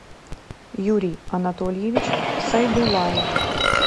юрий анатольевич сайдуллаев